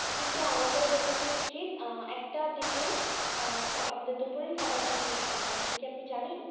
কিন্তু আমাদের প্রত্যেকের উচিৎ আহ একটার দিকে আহ খাবা আমাদের দুপুরের খাবারটা শেষ করা, এটা কি আপনি জানেন?